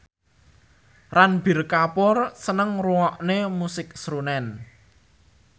Ranbir Kapoor seneng ngrungokne musik srunen